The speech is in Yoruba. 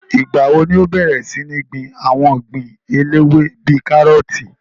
Ìgbà wo ni ó bẹ̀rẹ̀ sí ní gbin àwọn ogbin eléwé bíi kárọ̀tì